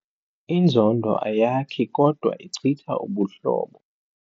Inzondo ayakhi kodwa ichitha ubuhlobo.